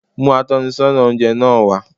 Mú atónisọ́nà oúnje náa wá